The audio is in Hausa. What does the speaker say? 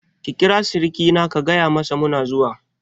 Ki kira sirikina ka gayamasa muna zuwa!